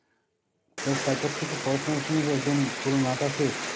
তা তারপর থেকে পড়াশুনার সঙ্গে কি একদম পুরো নাতা শেষ?